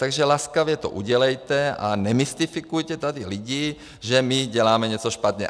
Takže laskavě to udělejte a nemystifikujte tady lidi, že my děláme něco špatně.